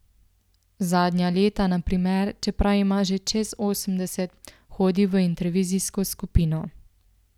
Zadnja leta na primer, čeprav ima že čez osemdeset, hodi v intervizijsko skupino.